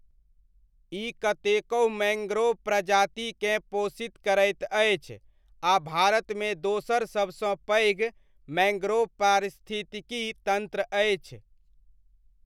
ई कतेकहु मैङ्ग्रोव प्रजातिकेँ पोषित करैत अछि आ भारतमे दोसर सबसँ पैघ मैङ्ग्रोव पारिस्थितिकी तन्त्र अछि।